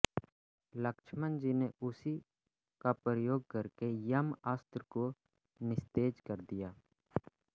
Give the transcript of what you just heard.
लक्ष्मण जी ने उसी का प्रयोग करके यम अस्त्र को निस्तेज कर दिया